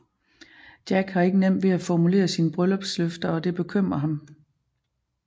Jack har ikke nemt ved at formulere sine bryllupsløfter og det bekymrer ham